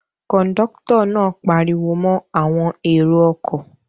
Kọ̀ńdọ́tọ̀ náà pariwo mọ́ àwọn èrò-ọkọ̀?